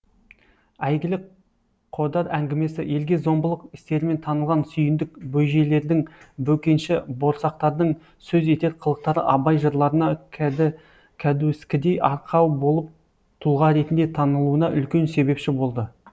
әйгілі қодар әңгімесі елге зомбылық істерімен танылған сүйіндік бөжейлердің бөкенші борсақтардың сөз етер қылықтары абай жырларына кәдуіскідей арқау болып тұлға ретінде танылуына үлкен себепші болды